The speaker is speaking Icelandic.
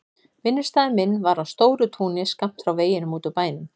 Vinnustaður minn var á stóru túni skammt frá veginum út úr bænum.